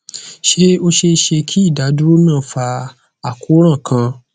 ṣe o ṣee ṣe ki idaduro naa fa akoran kan